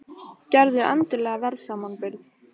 Gerðu endilega verðsamanburð!